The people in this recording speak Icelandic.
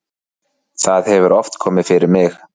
það hefur oft komið fyrir mig.